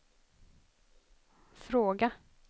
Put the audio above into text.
fråga